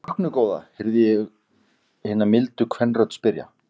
Ertu vöknuð góða? heyrði hún milda kvenrödd spyrja.